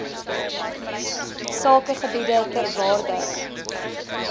sakegebiede ter waarde